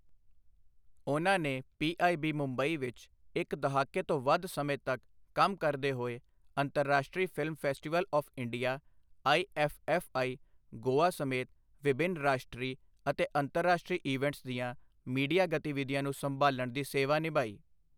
ਉਨ੍ਹਾਂ ਨੇ ਪੀਆਈਬੀ ਮੁੰਬਈ ਵਿੱਚ ਇੱਕ ਦਹਾਕੇ ਤੋਂ ਵੱਧ ਸਮੇਂ ਤੱਕ ਕੰਮ ਕਰਦੇ ਹੋਏ ਅੰਤਰਰਾਸ਼ਟਰੀ film festival of India IFFI, Goa ਸਮੇਤ ਵਿਭਿੰਨ ਰਾਸ਼ਟਰੀ ਅਤੇ ਅੰਤਰਰਾਸ਼ਟਰੀ ਈਵੈਂਟਸ ਦੀਆਂ ਮੀਡੀਆ ਗਤੀਵਿਧੀਆਂ ਨੂੰ ਸੰਭਾਲ਼ਣ ਦੀ ਸੇਵਾ ਨਿਭਾਈ।